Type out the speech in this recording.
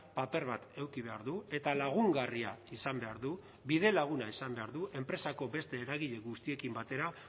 paper bat eduki behar du eta lagungarria izan behar du bidelaguna izan behar du enpresako beste eragile guztiekin batera